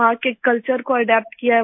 वहाँ के कल्चर को अदप्त किया है